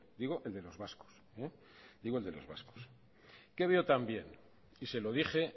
digo el de los vascos qué veotambién y se lo dije